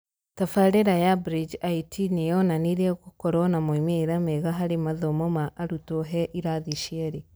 Tabarĩra ya BridgeIT nĩ yonanirie gũkorwo na moimĩrĩra mega harĩ mathomo ma arutwo he irathi cierĩ.